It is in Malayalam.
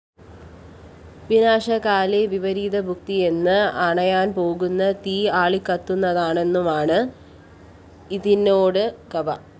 വിനാശകാലേ വിപരീതബുദ്ധിയെന്നും അണയാന്‍പോകുന്ന തീ ആളിക്കത്തുന്നതാണെന്നുമാണ്‌ ഇതിനോട്‌ ഗവ